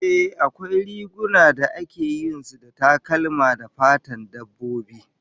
Ehh, akwai rigunan da takalman da ake yin su da fatan dabbobi